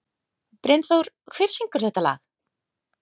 Brynþór, hver syngur þetta lag?